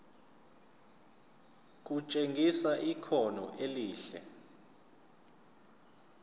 kutshengisa ikhono elihle